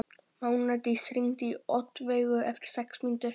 Mánadís, hringdu í Oddveigu eftir sex mínútur.